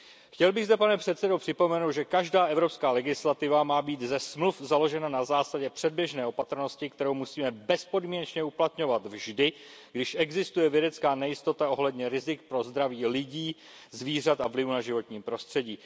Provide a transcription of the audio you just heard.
Chtěl bych zde, pane předsedající, připomenout, že každá evropská legislativa má být ze Smluv založena na zásadě předběžné opatrnosti, kterou musíme bezpodmínečně uplatňovat vždy, když existuje vědecká nejistota ohledně rizik pro zdraví lidí, zvířat a vlivu na životní prostředí.